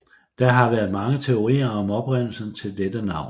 Der har været mange teorier om oprindelsen til dette navn